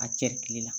A cɛkili la